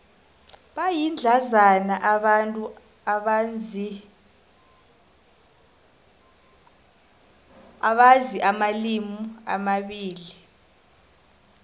bayindlandzana abantu abazi amalimi amabili